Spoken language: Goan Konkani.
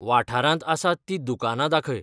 वाठारांत आसात तीं दुकानां दाखय